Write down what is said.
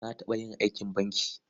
Na taɓa yin aikin banki.